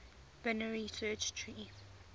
binary search tree